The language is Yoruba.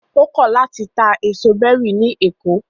Ó kọ̀ láti ta èso berries ní Èkó.